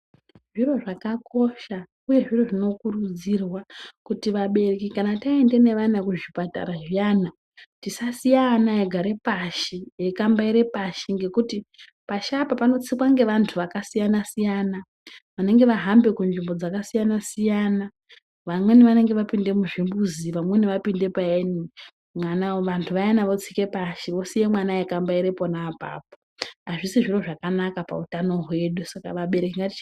Zviro zvakakosha uye zviro zvinokurudzirwa kuti vabereki kana taenda nevana kuzvipatara zviyani tisasiya ana eigare pashi eikambaire pashi ngekuti pashi apa panotsikwa ngevanthu vakasiyana-siyana vanenge vahambe kunzvimbo dzakasiyana- siyana vamweni vanenge vapinde muzvimbuzi, vamweni vanenge vapinda paini vanthu vayani votsika pashi wosiya mwana eikambaira pona apapo azvisi zviro zvakanaka pautano hwedu saka vabereki ngatiche...